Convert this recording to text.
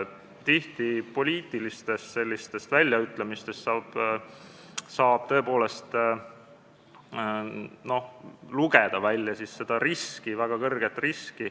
Tihti on saanud poliitilistest väljaütlemistest tõepoolest lugeda välja seda riski ja väga suurt riski.